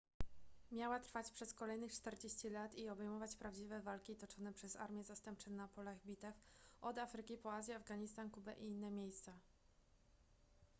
miała trwać przez kolejnych 40 lat i obejmować prawdziwe walki toczone przez armie zastępcze na polach bitew od afryki po azję afganistan kubę i inne miejsca